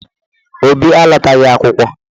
Obi alọtaghị akwụkwọ.